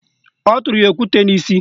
O tụrụ ya okwute n'isi